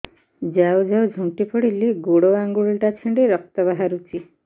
ଯାଉ ଯାଉ ଝୁଣ୍ଟି ପଡ଼ିଲି ଗୋଡ଼ ଆଂଗୁଳିଟା ଛିଣ୍ଡି ରକ୍ତ ବାହାରୁଚି